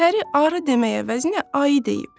Pəri arı demək əvəzinə ayı deyib.